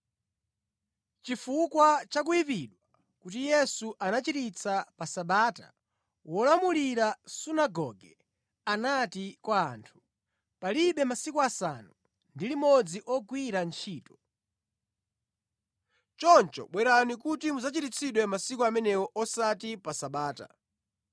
Chifukwa cha kuyipidwa kuti Yesu anachiritsa pa Sabata, wolamulira sunagoge anati kwa anthu, “Pali masiku asanu ndi limodzi ogwira ntchito. Choncho bwerani kuti mudzachiritsidwe masiku amenewo osati pa Sabata.”